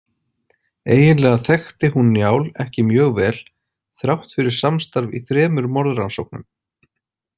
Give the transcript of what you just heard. Eiginlega þekkti hún Njál ekki mjög vel þrátt fyrir samstarf í þremur morðrannsóknum.